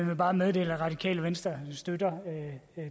vil bare meddele at radikale venstre støtter